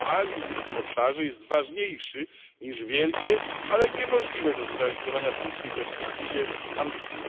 Realizm w tym obszarze jest ważniejszy niż wielkie, ale niemożliwe do zrealizowania w krótkiej perspektywie ambicje.